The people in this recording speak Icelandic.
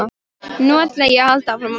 Nú ætla ég að halda áfram að pæla.